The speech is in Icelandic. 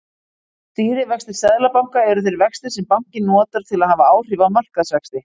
Stýrivextir seðlabanka eru þeir vextir sem bankinn notar til að hafa áhrif á markaðsvexti.